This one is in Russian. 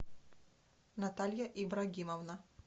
наталья ибрагимовна